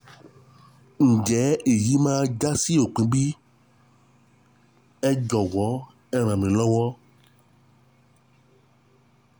ǸJẸ́ ÈYÍ MÁA WÁ SÓPIN BÍ? Ẹ JỌ̀WỌ́ Ẹ RÀN MÍ LỌ́WỌ́